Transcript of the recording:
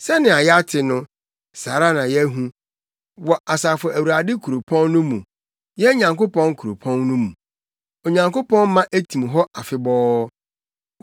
Sɛnea yɛate no, saa ara na yɛahu wɔ Asafo Awurade kuropɔn no mu, yɛn Nyankopɔn kuropɔn mu; Onyankopɔn ma etim hɔ afebɔɔ.